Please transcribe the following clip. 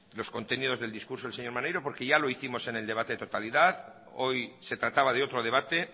los contenidos del discurso del señor maneiro porque ya lo hicimos en el debate de totalidad hoy se trataba de otro debate